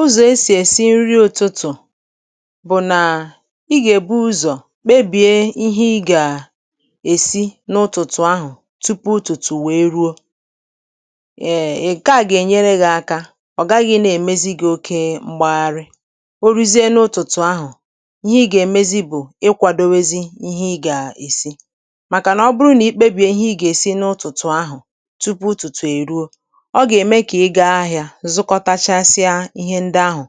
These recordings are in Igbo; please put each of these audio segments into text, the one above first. Ụzọ̀ e sì èsi nri ụ̀tụtụ̀ bụ̀ nà i gà-èbu ụzọ̀ kpebie ihe ị gà-èsi n’ụtụ̀tụ̀ ahụ̀, tupu ụtụ̀tụ̀ wee ruo. Èè, ị̀ gaa, gà-ènyere ghị̇ aka, ọ̀ gaghị̇ nà-èmezi gị oke mgbegharị. O ruzie n’ụtụ̀tụ̀ ahụ̀, ihe ị gà-èmezi bụ̀ ịkwadowezi ihe ị gà-èsi, màkà nà ọ bụrụ nà i kpebi ihe ị gà-èsi n’ụtụ̀tụ̀ ahụ̀ tupu ụtụ̀tụ̀ è ruo, zukọtachasịa ihe ndị ahụ̀,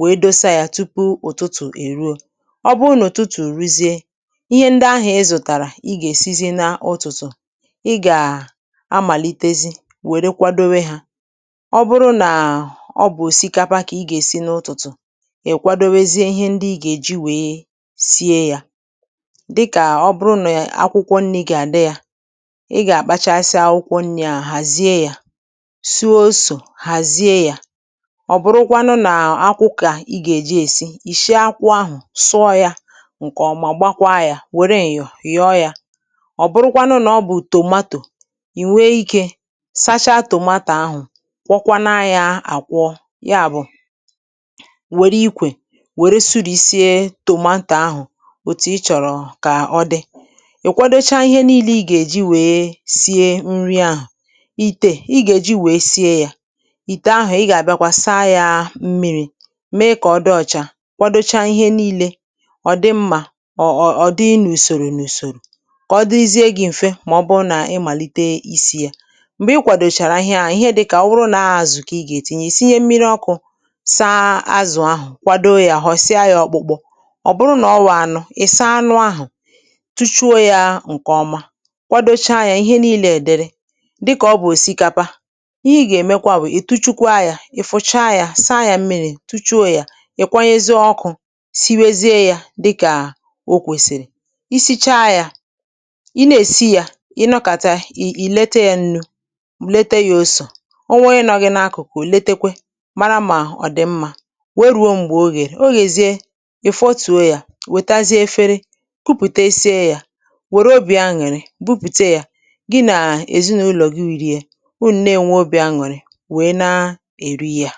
wèe dosa ya tupu ụ̀tụtụ̀ èruo. Ọ bụ n’ụ̀tụtụ̀, ùruzie ihe ndị ahụ̀ ị zụ̀tàrà, ị gà-èsizi n’ụtụtụ̀. Ị gà-amàlitezi wèe dikwadowe hȧ. Ọ bụrụ nà ọ bụ̀ òsikapa, kà ị gà-èsi n’ụtụtụ̀, ị̀ kwadowezie ihe ndị ị gà-èji wèe sie yȧ. Dìkà ọ bụrụ nà akwụkwọ nri̇ gà-àdị yȧ, ị gà-àkpụụ̀tasịa akwụkwọ nri̇, à hàzie yȧ. Ọ̀ bụrụkwanụ nà akwụkà ị gà-èji èsi, ì shie akwụ ahụ̀, sụọ ya ǹkè ọ̀, mà gbakwa yȧ, wère yọ̀ yọ̀ yọ̀ọ yȧ. Ọ̀ bụrụkwanụ nà ọ bụ̀ tomato, ì nwe ikė sacha tomato ahụ̀, kwọkwanụa yȧ. Àkwọ ya bụ̀, wère ikwè, wère sụrì sie tomato ahụ̀. Òtù ịchọ̀rọ̀ kà ọ dị, um ị̀ kwadocha ihe niilė ị gà-èji wèe sie nri ahụ̀.Ité ị gà-èji wèe sie yȧ, mee kà ọ dị ọ̀chà, kwadocha ihe niile, ọ̀ dị mmȧ, ọ ọ̀ ọ̀ dị nùsòrò n’ùsòrò, kà ọ dịzie gị̇ m̀fe. Mà ọ bụrụ nà ị màlite isi̇ yȧ, m̀gbè i kwàdòchàrà ihe ahụ̀, ihe dịkà ọ bụrụ nà aàzụ̀, kà ị gà-ètinye isi, um ihe mmiri̇ ọkụ̇, saa azụ̀ ahụ̀, kwadoo yȧ, họ̀sịa yȧ, ọkpụ̇kpụ̇. Ọ̀ bụrụ nà ọ wụ̀ anụ, ị̀ saa anụ̇ ahụ̀, tuchuo yȧ ǹkèọma, kwadocha yȧ. Ihe niilė èdere dịkà ọ bụ̀ òsikapa, ì fùcha yȧ, saa yȧ mmiri̇, tuchuo yȧ. Ị̀ kwanyezi ọkụ̇, siwezie yȧ, dịkà o kwèsìrì. Isi̇cha yȧ, ị na-èsi yȧ, ị nọkàta, ì lete yȧ ǹnu̇, lete yȧ osò. O nwee ị nọgị n’akụ̀kụ̀, letekwe mara, mà ọ̀ dị̀ mmȧ. Wee rùo m̀gbè o gà-èrè, o gà-èzie, ì fọtùo yȧ, wètazie efere, kupùte esiė yȧ, um wère obì aṅụ̀rị, bupùte yȧ gị nà èzinụlọ̀ gị, wìrì ya. O ǹne, ènwe obì aṅụ̀rị, anụ, ma na-eri ya.